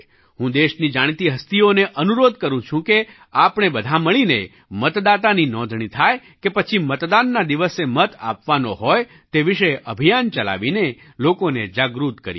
હું દેશની જાણીતી હસ્તીઓને અનુરોધ કરું છું કે આપણે બધાં મળીને મતદાતાની નોંધણી થાય કે પછી મતદાનના દિવસે મત આપવાનો હોય તે વિશે અભિયાન ચલાવીને લોકોને જાગૃત કરીએ